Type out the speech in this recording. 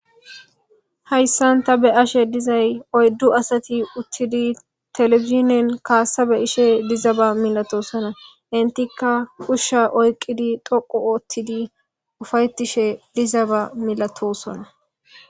Hayssanta be ashe dizay oyddu asati uttidi telefizinen kaassabe ishe dizaba milatosona intikka ushsha oyqqidi dhoqu oottidi ufaytishe dizaba milatosona